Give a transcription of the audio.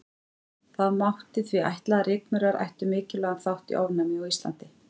Það mátti því ætla að rykmaurar ættu mikilvægan þátt í ofnæmi á Íslandi.